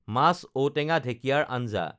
মাছ ঔটেঙা ঢেঁকিয়াৰ আঞ্জা